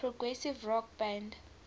progressive rock band